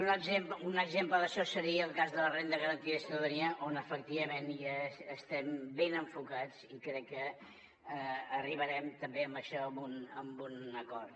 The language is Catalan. un exemple d’això seria el cas de la renda garantida de ciutadania on efectivament ja estem ben enfocats i crec que arribarem també amb això a un acord